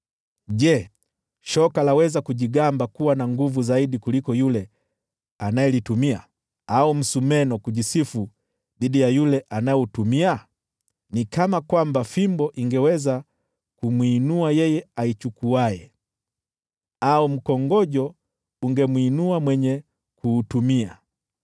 Je, shoka laweza kujigamba kuwa na nguvu zaidi kuliko yule anayelitumia, au msumeno kujisifu dhidi ya yule anayeutumia? Ni kana kwamba fimbo ingeweza kumwinua yeye aichukuaye, au mkongojo ungemwinua mwenye kuutumia!